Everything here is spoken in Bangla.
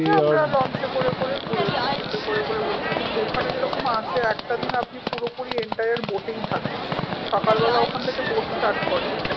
লঞ্চে করে করে ঘুরেছি ship এ করে করে ঘুরেছি এবং ওখানে যেরকম আছে একটা দিন আপনি পুরোপুরো entire boat এই থাকেন। সকাল বেলা ওখান থেকে boat start করে